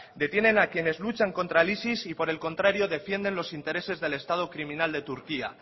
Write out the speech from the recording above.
detienen a quienes luchan contra el isis y por el contrario defienden los intereses del estado criminal de turquía